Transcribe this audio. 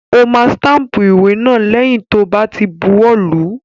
Ó máa stámpù ìwé náà lẹ́yìn tó bá ti buwọ́ lùú.